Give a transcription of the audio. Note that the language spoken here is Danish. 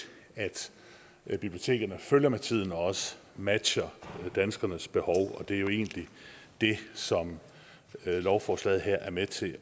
at bibliotekerne følger med tiden og også matcher danskernes behov det er jo egentlig det som lovforslaget her er med til